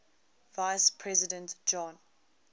vice president john